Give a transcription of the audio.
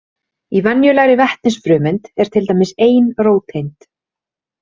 Í venjulegri vetnisfrumeind er til dæmis ein róteind.